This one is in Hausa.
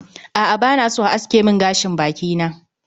A'a bana so a aske min gashin baki na